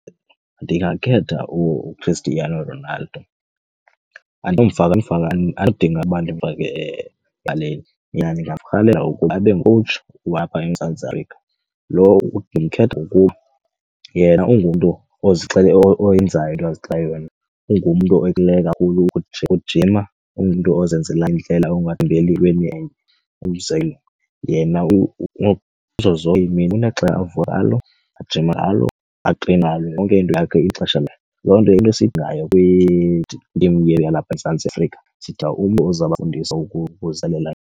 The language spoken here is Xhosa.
Ndingakhetha uChristiano Ronaldo. Andinomfaka nomfaka, andidingi uba ndimfake ebaleni yena ndingarhalela ukuba abe ngokhowutshi walapha eMzantsi Afrika. Ndimkhetha ngokuba yena ungumntu oyenzayo into azixelele yona. Ungumntu okuhoyileyo kakhulu ukujima. Ungumntu ozenzela indlela angalindeli entweni enye. Umzekelo yena kuzo zonke iimini unexesha avuka ngalo, ajime ngalo, atreyinayo, yonke into yakhe inexesha layo. Loo nto into esiyidingayo kwitim yalapha eMzantsi Afrika, sidinga umntu oza kubafundisa ukulungiselela.